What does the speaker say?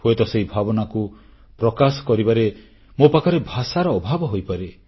ହୁଏତ ସେହି ଭାବନାକୁ ପ୍ରକାଶ କରିବାରେ ମୋ ପାଖରେ ଭାଷାର ଅଭାବ ହୋଇପାରେ